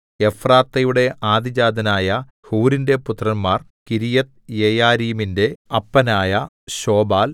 എഫ്രാത്തയുടെ ആദ്യജാതനായ ഹൂരിന്റെ പുത്രന്മാർ കിര്യത്ത്യെയാരീമിന്റെ അപ്പനായ ശോബാൽ